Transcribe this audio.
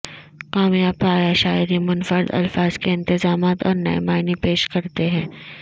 کامیاب پایا شاعری منفرد الفاظ کے انتظامات اور نئے معنی پیش کرتے ہیں